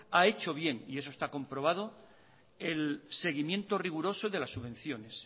ha hecho bien y eso está comprobado el seguimiento riguroso de las subvenciones